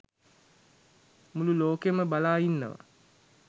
මුළු ලෝකයම බලා ඉන්නවා